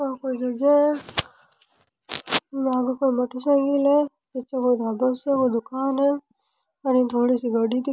आ कोई जगह है यहाँ पर कोई मोटर साईकिल है निचे कोई ढाबो सो दुकान है और अने थोड़ी सी गाड़ी दिख --